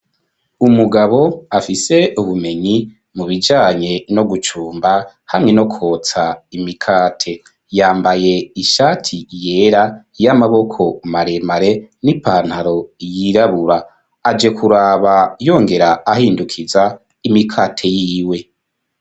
Umugabo afise ubumenyi mu bijanye no gucumba hamwe no kwotsa imikate, yambaye ishati yera y'amaboko maremare n'ipantaro yirabura aje kuraba yongera ahindukiza imikate yiwe.